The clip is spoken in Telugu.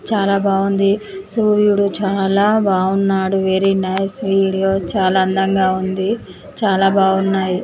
చాలా బాగుంది సూర్యుడు చాలా బాగున్నాడు వెరీ నైస్ వీడియో చాలా అందంగా ఉంది చాలా బాగున్నాయి.